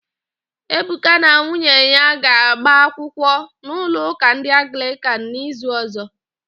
Ebuka na nwunye ya ga-agba akwụkwụ n'ụlọụ́kà ndị Anglịkan n'izuụ́kà ọ̀zọ́.